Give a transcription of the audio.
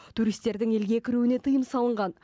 туристердің елге кіруіне тыйым салынған